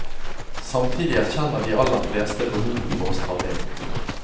Samtidig erkjenner de aller fleste behovet for å stramme inn.